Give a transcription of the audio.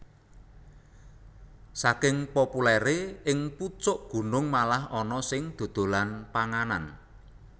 Saking populèré ing pucuk gunung malah ana sing dodolan panganan